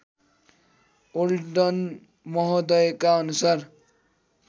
olden महोदयका अनुसार